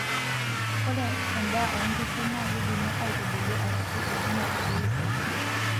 Ore endaa oonkishu nakeidimi aitubulu arashua eidim atubuluu oopeny.